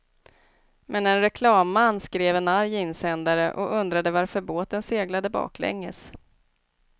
Men en reklamman skrev en arg insändare och undrade varför båten seglade baklänges.